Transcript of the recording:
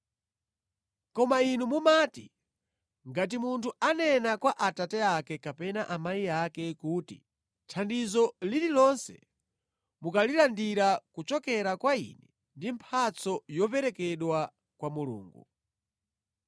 Koma inu mumati, ngati munthu anena kwa abambo ake kapena amayi ake kuti, ‘Thandizo lililonse mukalirandira kuchokera kwa ine ndi mphatso yoperekedwa kwa Mulungu,’